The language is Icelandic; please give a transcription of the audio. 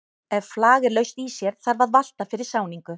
Ef flag er laust í sér þarf að valta fyrir sáningu.